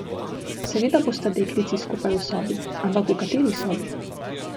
Seveda bosta deklici skupaj v sobi, ampak v kateri sobi!